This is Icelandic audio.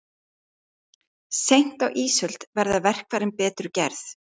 Seint á ísöld verða verkfærin betur gerð.